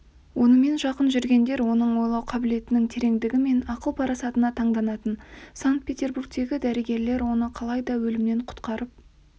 онымен жақын жүргендер оның ойлау қабілетінің тереңдігі мен ақыл-парасатына таңданатын санкт-петербургтегі дәрігерлер оны қалайда өлімнен құтқарып